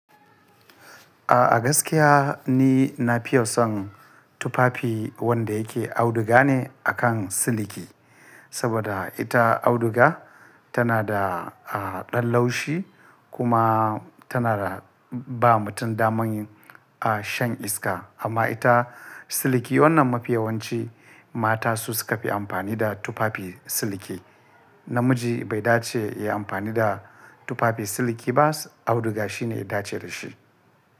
A, gaskiya ni na fiye son tufafi wanda yake auduga ne akan siliki. Saboda ita auduga tana da, a, ɗan laushi kuma tana da ba mutum damar yin, a, shan iska. Amma ita siliki wannan mafiyawanci mata su suka fi amfani da tufafi siliki. Namiji bai dace ya yi amfani da tufafi siliki ba, auduga shi ne ya dace da shi.